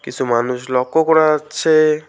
কিসু মানুষ লক্ষ্য করা যাচ্ছে।